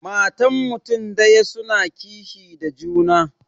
Matan mutun daya suna kishi da juna.